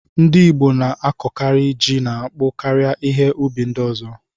Ndị Igbo na-akọkari ji na akpụ karịa ihe ụbi ndi ọzọ.